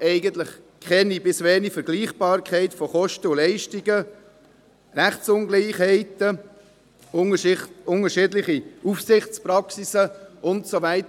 eigentlich keine bis geringe Vergleichbarkeit von Kosten und Leistungen, Rechtsungleichheit, unterschiedliche Aufsichtspraxis und so weiter.